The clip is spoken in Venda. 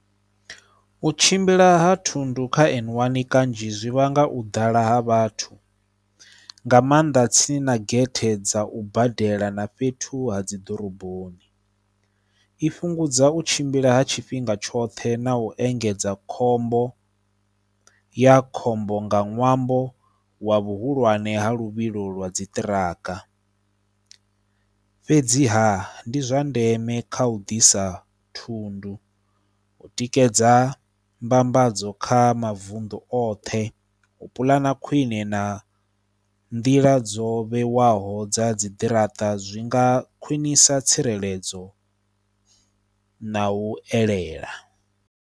U tshimbila ha thundu kha N one kanzhi zwi vhanga u ḓala ha vhathu nga maanḓa tsini na gethe dza u badela na fhethu ha dzi ḓoroboni, i fhungudza u tshimbila ha tshifhinga tshoṱhe na u engedza khombo, ya khombo nga ṅwambo wa vhuhulwane ha luvhilo lwa dzi ṱiraka. Fhedziha ndi zwa ndeme kha u ḓisa thundu u tikedza mbambadzo kha mavuṋdu oṱhe, u puḽana khwine na nḓila dzo vhewaho dza dzi ḓirata zwi nga khwinisa tsireledzo na u elela.